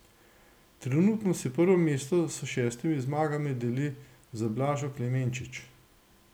Trenutno si prvo mesto s šestimi zmagami deli z Blažo Klemenčič.